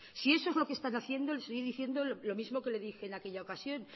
si eso es lo que están haciendo le estoy diciendo lo mismo que le dije en aquella ocasión